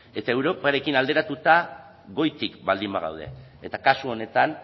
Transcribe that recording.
eta europarekin alderatuta goitik baldin bagaude eta kasu honetan